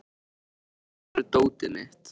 Gefn, hvar er dótið mitt?